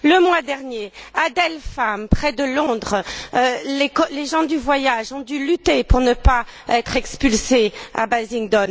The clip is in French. Le mois dernier, à Dale Farm, près de Londres, les gens du voyage ont dû lutter pour ne pas être expulsés à Basildon.